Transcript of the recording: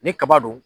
Ni kaba don